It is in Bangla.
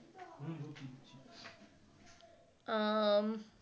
আম